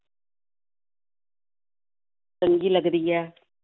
ਚੰਗੀ ਲੱਗਦੀ ਹੈ।